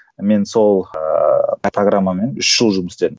мен сол ыыы программамен үш жыл жұмыс істедім